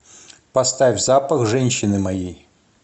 поставь запах женщины моей